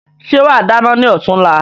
Ṣe wa dáná ni ọ̀túnla?